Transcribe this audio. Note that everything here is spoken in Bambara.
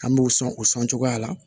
An b'o sɔn o sɔn cogoya la